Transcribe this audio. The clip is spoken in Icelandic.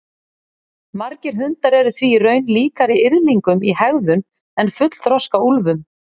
Margir hundar eru því í raun líkari yrðlingum í hegðun en fullþroska úlfum.